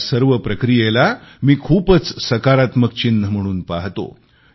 या सर्व प्रक्रियेला मी खूपच सकारात्मक चिन्ह म्हणून पाहतो